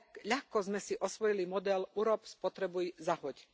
Ľahko sme si osvojili model urob, spotrebuj, zahoď.